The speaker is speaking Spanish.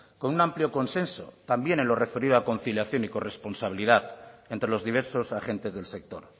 con un amplio consenso también en lo referido a conciliación y corresponsabilidad entre los diversos agentes del sector